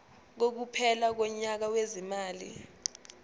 kokuphela konyaka wezimali